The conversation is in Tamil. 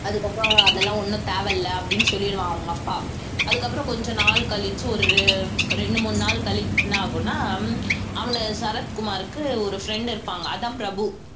அதுக்கப்புறம் அதெல்லாம் ஒண்ணும் தேவையில்லை அப்படீன்னு சொல்லிடுவான் அவங்க அப்பா அதுக்கப்புறம் கொஞ்ச நாள் கழிச்சு ஒரு ரெண்டு மூணு நாள் கழிச்சு என்ன ஆகும்னா அவன சரத்குமாருக்கு ஒரு friend இருப்பாங்க அதான் பிரபு